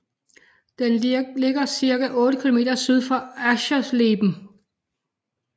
Den ligger cirka 8 km syd for Aschersleben